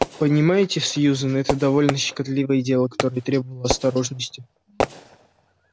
понимаете сьюзен это довольно щекотливое дело которое требовало осторожности